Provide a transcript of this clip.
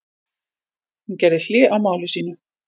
Hún gerði hlé á máli sínu.